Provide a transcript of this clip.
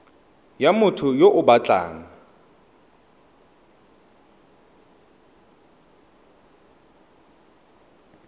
ya motho yo o batlang